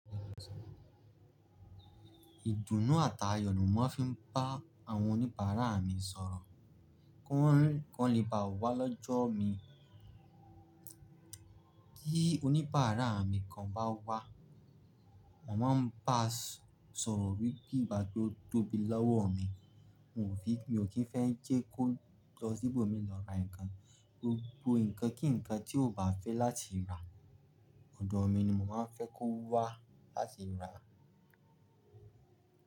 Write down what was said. Ìdùnnú àt'àyọ̀ ni mo ma fi ń bá àwọn oníbàárà mi sọ̀rọ̀ kí wọ́n lè bá wá lọ́jọ́ mi. Ti oníbàárà mi kan bá wá, màá máa ń bá a sọ̀rọ̀ wípé ìgbà tó tóbi lọ́wọ́ mi, mi ò kí ń fẹ́ jẹ́ kó lọ sí ibomi lọ ra nǹkan. Gbogbo nǹkan kí nǹkan tí ó bá fẹ́ láti rà, ọ̀dọ̀ mi ni mò ma ń fẹ́ kó wá láti rà á.